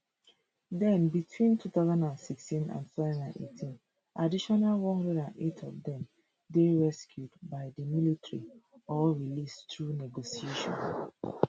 then between twenty sixteen and twenty eighteen additional one hundred and eight of dem dey rescued by di military or released through negotiation